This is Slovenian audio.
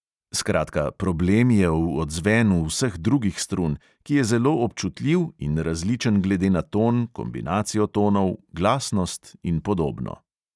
Skratka, problem je v odzvenu vseh drugih strun, ki je zelo občutljiv in različen glede na ton, kombinacijo tonov, glasnost in podobno.